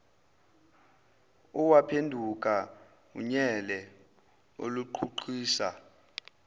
owaphenduka unyele oluqhuqhisayo